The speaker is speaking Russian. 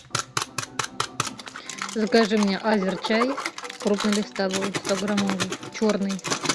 закажи мне азерчай крупнолистовой стограммовый черный